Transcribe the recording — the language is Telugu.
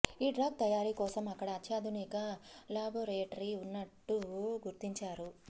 ఈ డ్రగ్ తయారీ కోసం అక్కడ అత్యాధునిక లాబోరేటరీ ఉన్నట్లు గుర్తించారు